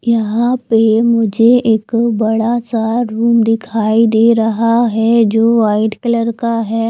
यहां पे मुझे एक बड़ासा रूम दिखाई दे रहा है जो वाइट कलर का है।